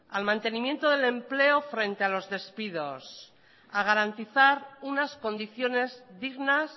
al mantenimiento del empleo frente a los despidos a garantizar unas condiciones dignas